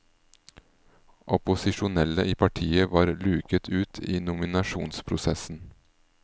Opposisjonelle i partiet var luket ut i nominasjonsprosessen.